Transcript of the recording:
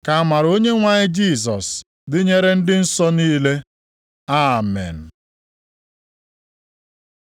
Ka amara Onyenwe anyị Jisọs dịnyere ndị nsọ niile. Amen.